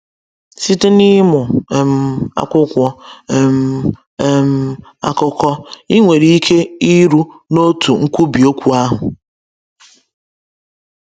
Site n’ịmụ um akwụkwọ um um akụkọ, ị nwere ike iru n’otu nkwubi okwu ahụ.